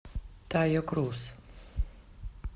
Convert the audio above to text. тайо круз